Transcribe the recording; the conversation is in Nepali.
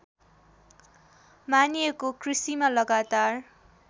मानिएको कृषिमा लगातार